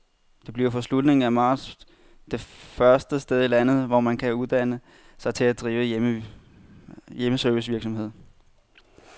Det bliver fra slutningen af marts det første sted i landet, hvor man kan uddanne sig til at drive hjemmeservicevirksomhed.